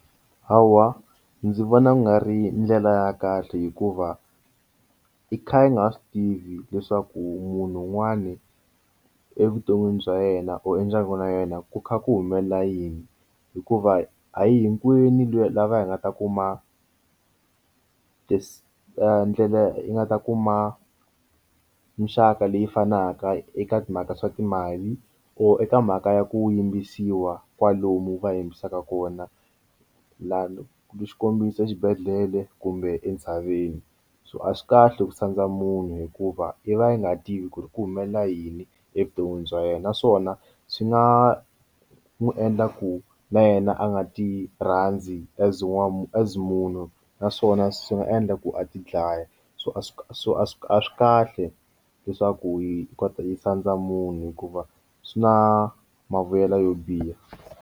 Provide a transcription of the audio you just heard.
Hawa ndzi vona ku nga ri ndlela ya kahle hikuva i kha i nga swi tivi leswaku munhu un'wani evuton'wini bya yena or ndyangu na yena ku kha ku humelela yini hikuva a hinkwenu lava hi nga ta kuma this ndlela yi nga ta kuma muxaka leyi fanaka eka timhaka swa timali or eka mhaka ya ku yimbisiwa kwalomu va yimbisaka kona la xikombiso exibedhlele kumbe entshaveni so a swi kahle ku sandza munhu hikuva yi va yi nga tivi ku ri ku humelela yini evuton'wini bya yena naswona swi nga n'wi endla ku na yena a nga ti rhandzi as warm as munhu naswona swi nga endla ku a ti dlaya so a swi so a swi a swi kahle leswaku yi kota yi sandza munhu hikuva swi na mavuyelo yo biha.